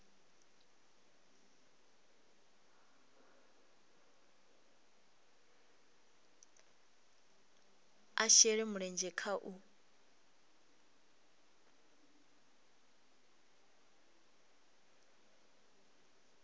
a shele mulenzhe kha u